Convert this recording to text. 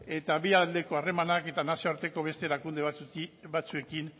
eta bi aldeko harremanak eta nazioarteko beste erakunde batzuekin